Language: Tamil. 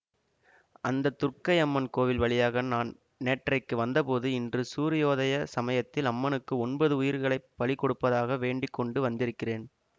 அந்த துர்க்கையம்மன் கோயில் வழியாக நான் நேற்றைக்கு வந்தபோது இன்று சூரியோதய சமயத்தில் அம்மனுக்கு ஒன்பது உயிர்களை பலி கொடுப்பதாக வேண்டி கொண்டு வந்திருக்கிறேன்